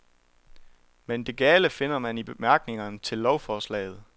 Men det gale finder man i bemærkningerne til lovforslaget.